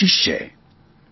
આ એક કોશીશ છે